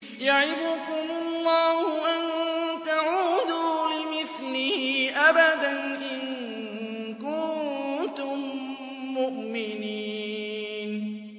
يَعِظُكُمُ اللَّهُ أَن تَعُودُوا لِمِثْلِهِ أَبَدًا إِن كُنتُم مُّؤْمِنِينَ